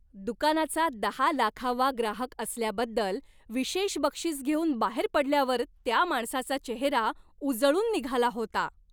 दुकानाचा दहा लाखावा ग्राहक असल्याबद्दल विशेष बक्षीस घेऊन बाहेर पडल्यावर त्या माणसाचा चेहरा उजळून निघाला होता.